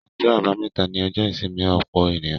Ọjọ́ àbámẹ́ta ni ọjọ́ ìsinmi ọ̀pọ̀ ènìyàn.